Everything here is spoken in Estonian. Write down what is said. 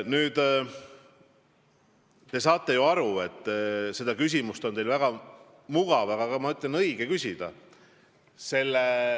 Muidugi te saate aru, et seda küsimust on teil väga mugav, aga ma tunnistan, et ka õige küsida.